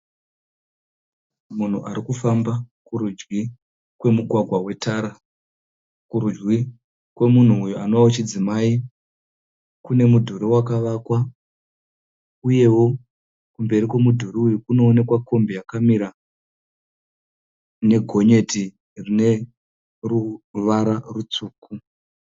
Munhu ari kufamba kurudyi kwemugwagwa wetara . Kurudyi kwemunhu uyu anova wechidzimai kune mudhuri wakavakwa uyewo kumberi kwemudhuri uyu kunooneka kombi yakamira negonyeti rine ruvara rutsvuku.